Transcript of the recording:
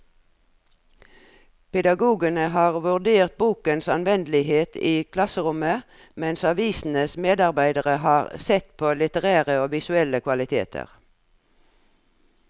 Pedagogene har vurdert bokens anvendelighet i klasserommet, mens avisens medarbeidere har sett på litterære og visuelle kvaliteter.